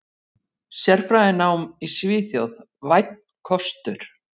Sérfræðinám í Svíþjóð: Vænn kostur.